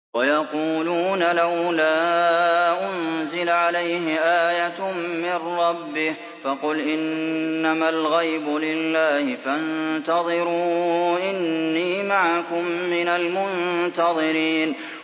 وَيَقُولُونَ لَوْلَا أُنزِلَ عَلَيْهِ آيَةٌ مِّن رَّبِّهِ ۖ فَقُلْ إِنَّمَا الْغَيْبُ لِلَّهِ فَانتَظِرُوا إِنِّي مَعَكُم مِّنَ الْمُنتَظِرِينَ